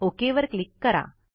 okay वर click करा